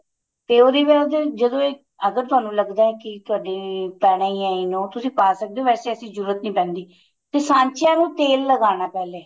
ਤੇ ਉਹਦੇ ਵੀ ਉਹਦੇ ਜਦੋਂ ਇੱਕ ਅਗਰ ਤੁਹਾਨੂੰ ਲੱਗਦਾ ਏ ਕੀ ਤੁਹਾਡੀ ਪੈਣਾ ਈ ਏ you know ਤੁਸੀਂ ਪਾ ਸਕਦੇ ਓ ਵੈਸੇ ਇਸ ਦੀ ਜਰੂਰਤ ਨੀਂ ਪੈਂਦੀ ਤੇ ਸਾਂਚਿਆਂ ਨੂੰ ਤੇਲ ਲੱਗਾਣਾ ਪਹਿਲੇ